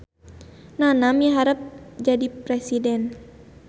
Nana miharep jadi presiden